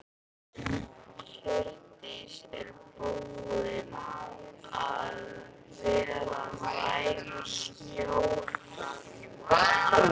Hjördís: Og er búið að vera nægur snjór þar?